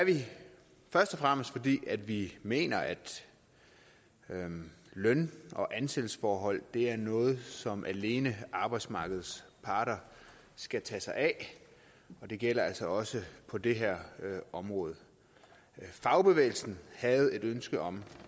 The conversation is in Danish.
først og fremmest fordi vi mener at løn og ansættelsesforhold er noget som alene arbejdsmarkedets parter skal tage sig af det gælder altså også på det her område fagbevægelsen havde et ønske om